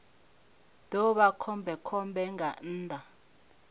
ḓo vha khombekhombe nga nnḓa